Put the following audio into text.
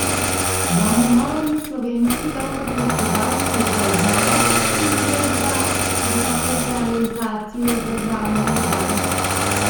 Bomo morali slovenski davkoplačevalci zdaj znova seči v žep za dokapitalizacijo državnih bank?